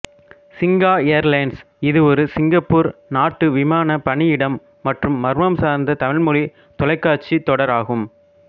சிங்கா airlines இது ஒரு Singapore நாட்டு விமான பணியிடம் மற்றும் மர்மம் சார்ந்த தமிழ்மொழித் தொலைக்காட்சி தொடர் ஆகும்